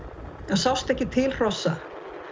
það sást ekki til hrossa